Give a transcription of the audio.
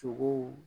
Sogow